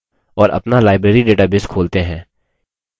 और अपना library database खोलते हैं